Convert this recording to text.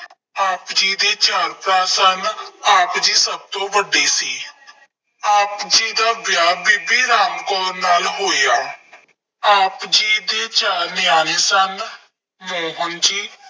ਆਪ ਜੀ ਦੇ ਚਾਰ ਭਰਾ ਸਨ। ਆਪ ਜੀ ਸਭ ਤੋਂ ਵੱਡੇ ਸੀ। ਆਪ ਜੀ ਦਾ ਵਿਆਹ ਬੀਬੀ ਰਾਮ ਕੌਰ ਨਾਲ ਹੋਇਆ। ਆਪ ਜੀ ਦੇ ਚਾਰ ਨਿਆਣੇ ਸਨ। ਮੋਹਨ ਜੀ,